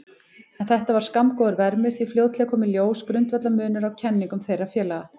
En þetta var skammgóður vermir því fljótlega kom í ljós grundvallarmunur á kenningum þeirra félaga.